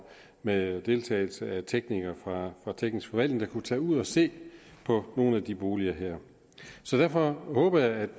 med deltagelse af teknikere fra teknisk forvaltning der kunne tage ud at se på nogle af de boliger her så derfor håber jeg at